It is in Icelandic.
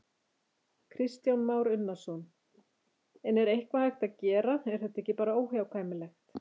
Kristján Már Unnarsson: En er eitthvað hægt að gera, er þetta ekki bara óhjákvæmilegt?